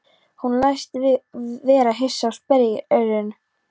Hann læst vera hissa og sperrir eyrun.